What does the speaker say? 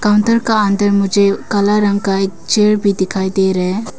का अंदर मुझे काला रंग का एक चेयर भी दिखाई दे रहे है।